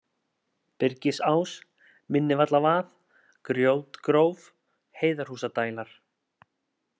Byrgisá, Minnivallavað, Grjótgróf, Heiðarhúsadælar